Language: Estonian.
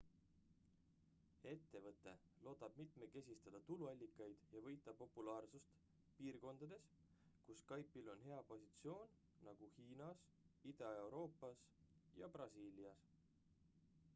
ettevõte loodab mitmekesistada tuluallikaid ja võita populaarsust piirkondades kus skype'il on hea positsioon nagu hiinas ida-euroopas ja brasiilias